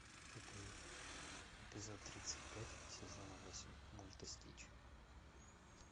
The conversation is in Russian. эпизод эпизод тридцать пять сезона восемь мульта стич